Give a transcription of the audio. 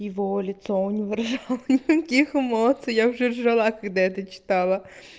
его лицо не выражало ха-ха никаких эмоций я уже ржала когда это читала